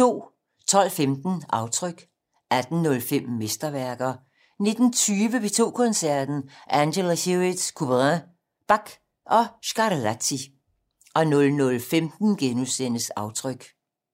12:15: Aftryk 18:05: Mesterværker 19:20: P2 Koncerten - Angela Hewitt, Couperin, Bach og Scarlatti 00:15: Aftryk *